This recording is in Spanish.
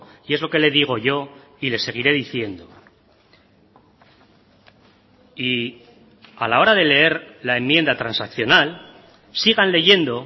y es lo que le digo yo y le seguiré diciendo y a la hora de leer la enmienda transaccional sigan leyendo